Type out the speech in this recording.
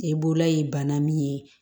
E bolola ye bana min ye